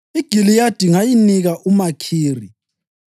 “IGiliyadi ngayinika uMakhiri.